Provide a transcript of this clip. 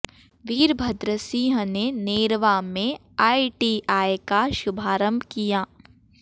वीरभद्र सिंह ने नेरवा में आईटीआई का शुभारम्भ किया